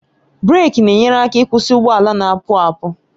breeki na-enyere aka ịkwụsị ụgbọ ala na-apu apu